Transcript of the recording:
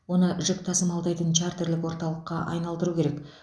оны жүк тасымалдайтын чартерлік орталыққа айналдыру керек